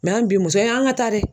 an bi muso ye an ŋa taa dɛ